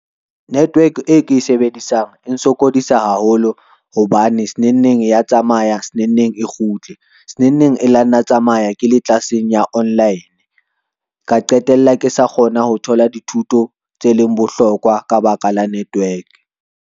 Network e ke e sebedisang e sokodisa haholo hobane senengneng ya tsamaya senengneng e kgutle. Senengneng e la nna ya tsamaya ke le tlelaseng ya online, ka qetella ke sa kgona ho thola dithuto tse leng bohlokwa ka baka la network.